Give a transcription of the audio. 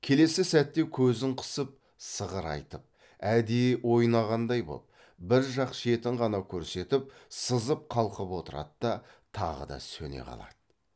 келесі сәтте көзін қысып сығырайтып әдейі ойнағандай боп бір жақ шетін ғана көрсетіп сызып қалқып отырады да тағы да сөне қалады